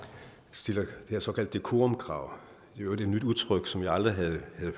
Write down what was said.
stiller det her såkaldte decorumkrav i øvrigt et nyt udtryk som jeg aldrig havde